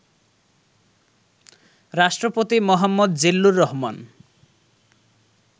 রাষ্ট্রপতি মো. জিল্লুর রহমান